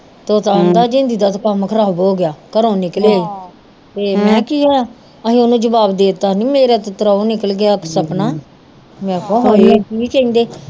ਤੋਤਾ ਆਂਦਾ ਜਿੰਦੀ ਦਾ ਤੇ ਕੰਮ ਖਰਾਬ ਹੋਗਿਆ ਘਰੋਂ ਨਿਕਲਿਆ ਈ ਤੇ ਮੈ ਕਿਹਾ ਕੀ ਹੋਇਆ ਅਹੇ ਓਹਨੂੰ ਜਬਾਬ ਦੇਤਾ ਨੀ ਮੇਰਾ ਤੇ ਤਰੋ ਨਿਕਲ ਗਿਆ ਸਪਨਾ ਮੈ ਕਿਹਾ ਹਾਏ ਕੀ ਕਹਿੰਦੇ